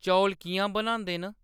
चौल किʼयां बनांदे न